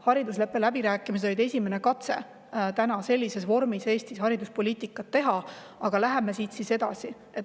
Haridusleppe läbirääkimised oli esimene katse sellises vormis Eestis hariduspoliitikat teha, aga läheme siit edasi.